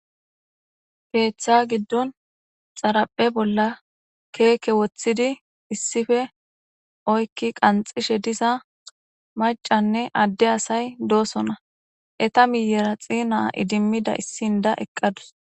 Keeththa giddon xaraphe bolla keeke woththidi issife oykki qanxishe disa macanne adde asay doosona eta miyeraxi naa idimmida issin da eqqadus.